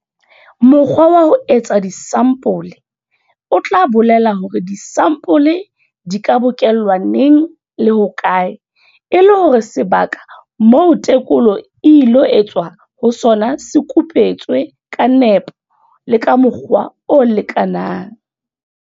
Mokgwa wa ho etsa disampole o tla bolela hore disampole di ka bokellwa neng le hokae e le hore sebaka moo tekolo e ilo etswa ho sona se kupetswe ka nepo le ka mokgwa o lekanang.